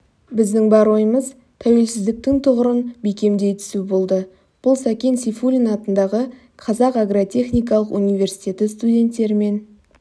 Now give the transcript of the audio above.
біздің бар ойымыз тәуелсіздіктің тұғырын бекемдей түсу болды бұл сәкен сейфуллин атындағы қазақ агротехникалық университеті студенттерімен